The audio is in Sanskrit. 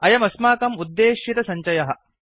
अयमस्माकम् उद्देशितसञ्चयः